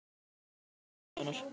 Hverjar eru raunverulegu ástæðurnar?